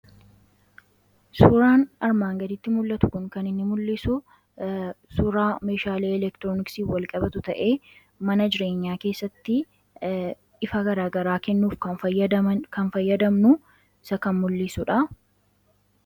suuraan armaan gaditti mul'atu kun kan inni mul'isu suuraa meeshaalei elektirooniksii wal qabatu ta'e mana jireenyaa keessatti ifa garagaraa kennuuf kan fayyadamnu isa kan mul'isuudha